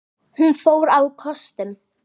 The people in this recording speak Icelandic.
Hún fór á kostum.